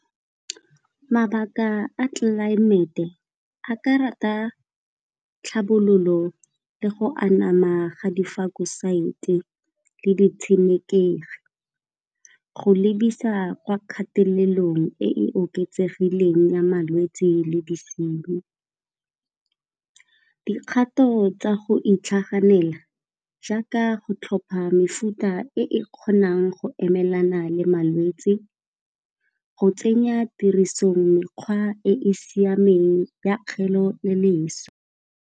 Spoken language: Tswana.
Mabaka a tlelaemete a ka rata tlhabololo le go anama ga di le di tshenekegi, go lebisa kwa kgatelelong e oketsegileng ya malwetsi le disinyi. Dikgato tsa go itlhaganela jaaka go tlhopha mefuta e kgonang go emelana le malwetsi go tsenya tiriso mekgwa e e siameng ya kgeleloswe.